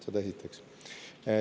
Seda esiteks.